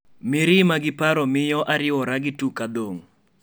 Ferdinand: mirima gi paro imiyo ariwora gi tuk adhong'